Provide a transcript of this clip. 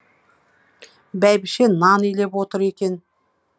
бәйбіше нан илеп отыр екен